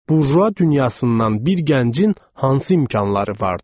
Burju dünyasından bir gəncin hansı imkanları vardır?